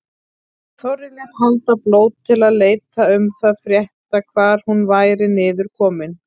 Þorri lét halda blót til að leita um það frétta hvar hún væri niður komin.